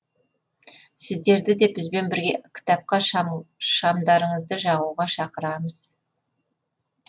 сіздерді де бізбен бірге кітапқа шамдарыңызды жағуға шақырамыз